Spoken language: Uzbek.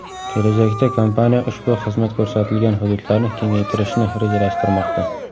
Kelajakda kompaniya ushbu xizmat ko‘rsatilgan hududlarni kengaytirishni rejalashtirmoqda.